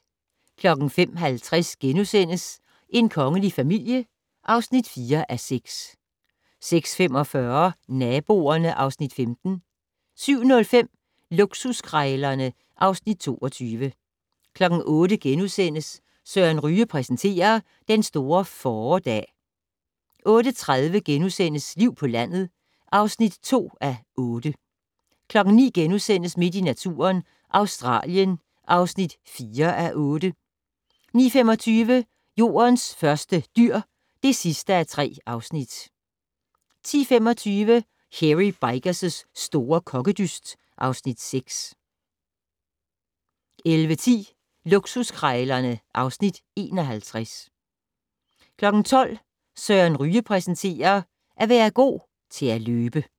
05:50: En kongelig familie (4:6)* 06:45: Naboerne (Afs. 15) 07:05: Luksuskrejlerne (Afs. 22) 08:00: Søren Ryge præsenterer: Den store fåredag * 08:30: Liv på landet (2:8)* 09:00: Midt i naturen - Australien (4:8)* 09:25: Jordens første dyr (3:3) 10:25: Hairy Bikers' store kokkedyst (Afs. 6) 11:10: Luksuskrejlerne (Afs. 51) 12:00: Søren Ryge præsenterer: At være god til at løbe